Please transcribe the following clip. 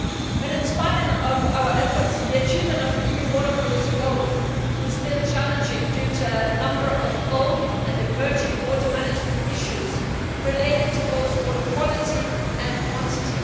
But, in spite of our efforts, the achievement of EU water policy goals is still challenging due to a number of old and emerging water management issues related to both water quality and quantity.